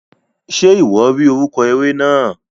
Ṣe iwọ ri orúkọ eré náà?